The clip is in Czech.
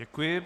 Děkuji.